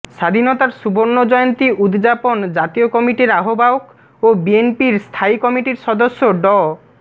স্বাধীনতার সুবর্ণজয়ন্তী উদযাপন জাতীয় কমিটির আহ্বায়ক ও বিএনপির স্থায়ী কমিটির সদস্য ড